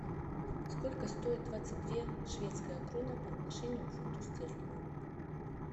сколько стоит двадцать две шведская крона по отношению к фунту стерлингу